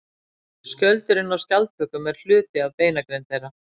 Skjöldurinn á skjaldbökum er hluti af beinagrind þeirra.